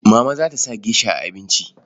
Mama za ta sa gesha a abinci.